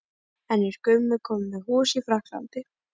En er Gummi kominn með hús í Frakklandi?